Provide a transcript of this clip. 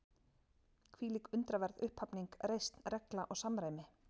Hvílík undraverð upphafning, reisn, regla og samræmi